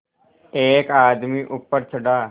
एक आदमी ऊपर चढ़ा